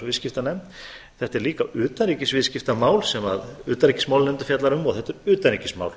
viðskiptanefnd þetta er líka utanríkisviðskiptamál sem utanríkismálanefnd fjallar um og þetta er utanríkismál